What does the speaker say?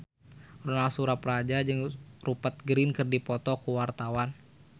Ronal Surapradja jeung Rupert Grin keur dipoto ku wartawan